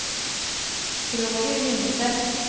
Roger Lindseth